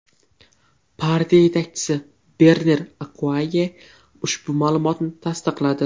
Partiya yetakchisi Bernar Akkuayye ushbu ma’lumotni tasdiqladi.